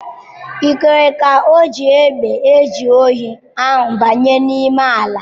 I kwere ka oji egbe eje ohi ahụ banye n'ime ala!